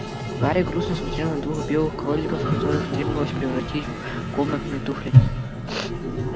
гарри грустно смотрел на двух белых кроликов которых требовалось превратить в комнатные туфли